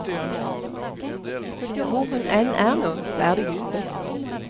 Hvor hun enn er nå, så er det jubel.